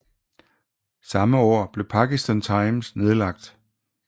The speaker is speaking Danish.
Samme år blev Pakistan Times nedlagt